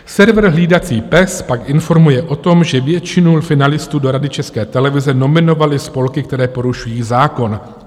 "Server Hlídací pes pak informuje o tom, že většinu finalistů do Rady České televize nominovaly spolky, které porušují zákon.